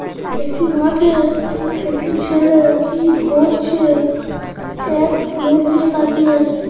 একটি মাঠে একটি ছেলে কি ধরছে এক মন দিয়ে তাকিয়ে আছে |